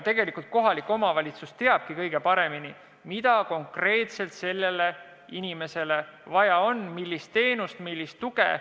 Tegelikult kohalik omavalitsus teabki kõige paremini, mida konkreetselt inimesele vaja on – millist teenust, millist tuge.